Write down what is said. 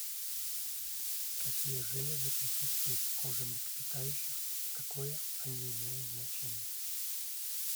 какие железы присутствуют в коже млекопитающих и какое они имеют значение